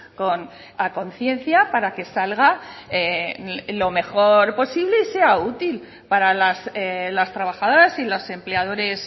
con a conciencia para que salga lo mejor posible y sea útil para las trabajadoras y los empleadores